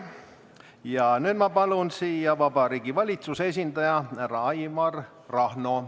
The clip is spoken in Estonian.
Ja nüüd ma palun siia Vabariigi Valitsuse esindaja härra Aivar Rahno.